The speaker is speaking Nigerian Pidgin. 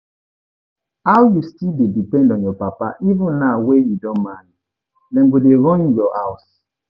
How you still dey depend on your papa even now wey you don marry, dem go dey run your house